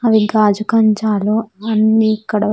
అవి గాజు కంచాలు అవన్నీ ఇక్కడ.